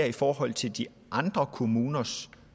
i forhold til de andre kommuners